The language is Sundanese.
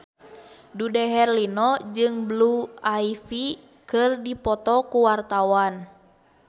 Dude Herlino jeung Blue Ivy keur dipoto ku wartawan